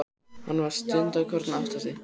Hann var stundarkorn að átta sig.